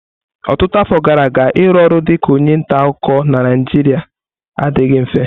Ọtụtụ afọ gara aga, ịrụ ọrụ dị ka onye nta akụkọ na Naijiria adịghị mfe.